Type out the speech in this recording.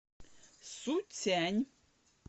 суцянь